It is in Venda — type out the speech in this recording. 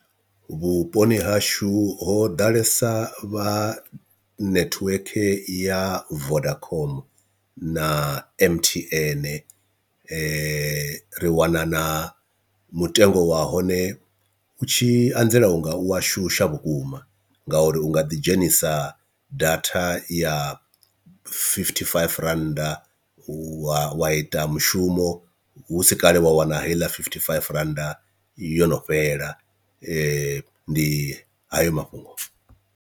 Vhuponi hashu ho ḓalesa vha netiweke ya vodacom na M_T_N, ri wana na mutengo wa hone u tshi anzela u nga u wa shusha vhukuma, ngauri u nga ḓi dzhenisa datha ya fifty five rand wa wa ita mushumo husi kale wa wana heiḽa fifty five randa yo no fhela ndi hayo mafhungo.